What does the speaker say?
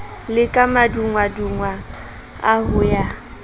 le ka madungwadungwana ho ya